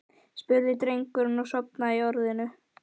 spurði drengurinn og sofnaði í orðinu.